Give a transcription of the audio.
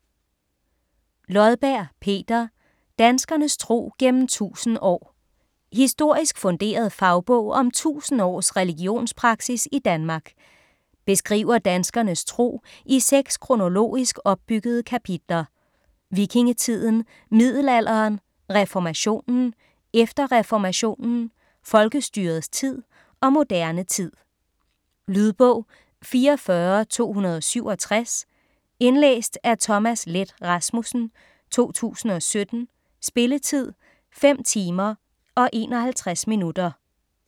Lodberg, Peter: Danskernes tro gennem 1000 år Historisk funderet fagbog om 1000 års religionspraksis i Danmark. Beskriver danskernes tro i seks kronologisk opbyggede kapitler: Vikingetiden, middelalderen, reformationen, efter reformationen, folkestyrets tid og moderne tid. Lydbog 44267 Indlæst af Thomas Leth Rasmussen, 2017. Spilletid: 5 timer, 51 minutter.